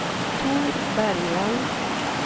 Tor Bergvall